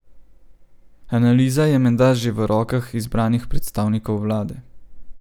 Analiza je menda že v rokah izbranih predstavnikov vlade.